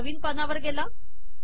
हा नवीन पानावर गेला